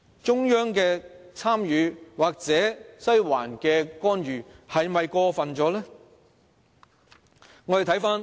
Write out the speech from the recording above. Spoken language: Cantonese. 中央的參與或"西環"的干預是否太過分呢？